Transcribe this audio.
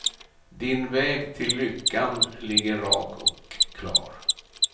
Din väg till lyckan ligger rak och klar.